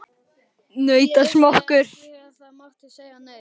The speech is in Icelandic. Ég vissi ekki að ég mátti segja nei.